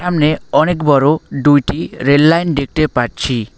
সামনে অনেক বড়ো ডুইটি রেললাইন দেখতে পাচ্ছি।